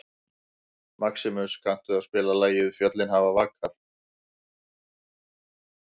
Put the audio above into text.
Maximus, kanntu að spila lagið „Fjöllin hafa vakað“?